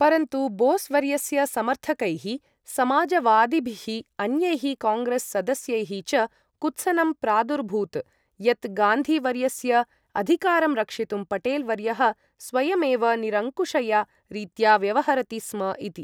परन्तु बोस् वर्यस्य समर्थकैः, समाजवादिभिः, अन्यैः काङ्ग्रेस् सदस्यैः च कुत्सनं प्रादुरभूत् यत् गान्धी वर्यस्य अधिकारं रक्षितुं पटेल् वर्यः स्वयमेव निरङ्कुशया रीत्या व्यवहरति स्म इति।